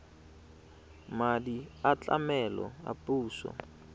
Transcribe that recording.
madi a tlamelo a puso